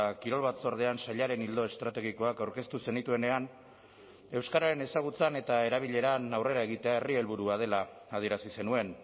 kirol batzordean sailaren ildo estrategikoak aurkeztu zenituenean euskararen ezagutzan eta erabileran aurrera egitea herri helburua dela adierazi zenuen